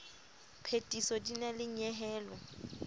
phethiso di na le nyehelo